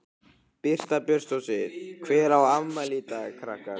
Birta Björnsdóttir: Hver á afmæli í dag krakkar?